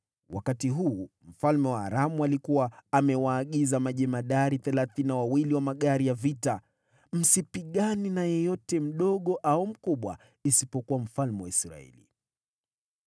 Wakati huu, mfalme wa Aramu alikuwa amewaagiza majemadari thelathini na wawili wa magari ya vita, “Msipigane na yeyote, mdogo au mkubwa, isipokuwa mfalme wa Israeli.”